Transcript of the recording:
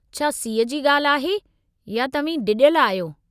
छा सीउ जी ॻाल्हि आहे या तव्हीं डिॼल आहियो?